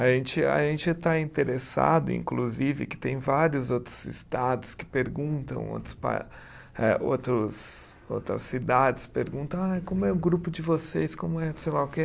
A gente, a gente está interessado, inclusive, que tem vários outros estados que perguntam, outros pa, eh outros outras cidades perguntam, ah como é o grupo de vocês, como é, sei lá o quê.